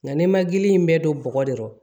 Nka ne ma gili in bɛɛ don bɔgɔ de kɔrɔ